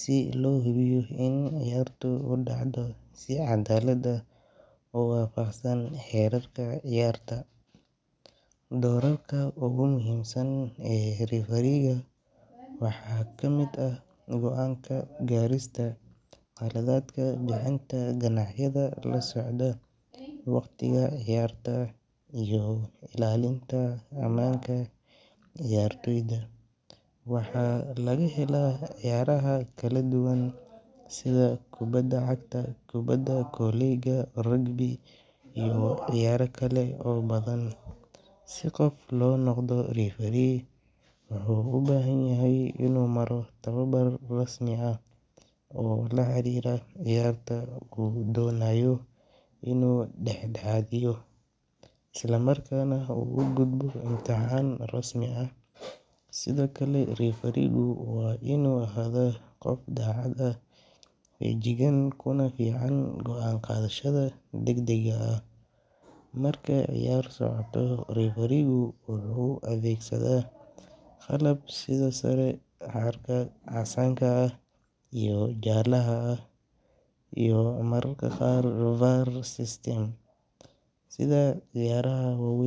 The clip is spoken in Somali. si loo hubiyo in ciyaarta ay udhacdo si cadaalad ah oo wafaqsan xeerarka ciyaarta, doorarka ogu muhiimsan ee riferiiga waxa kamid ah goanka garista, qaladadka, bixinta ganaxyada lasocda, waqtiga ciyaarta iyo illalinta amaanka ciyaartooda, waxa laga helaa ciyaaraha kala duban sida kubada cagta, kubada koleyga, rugbida iyo ciyaaro kale oo badan, si qofka uu unoqdo referee wuxuu ubahan yahay inu maro tababar rasmi ah oo laxariira ciyarta uu doonayo inu dhaxdhexaadiyo, isla markana uu ugudbo imtixan rasmi ah, sidokale rifirigu waa inu ahaada qof dacad ah feejigan kunafican goan qadashada degdega ah, marka ciyaar socoto rifirigu wuxuu adeegsada qalab sida sare karka casaanka ah iyo jaalaha ah iyo mararka qaar VAR system sida ciyaaraha waweyn